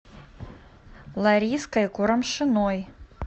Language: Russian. лариской курамшиной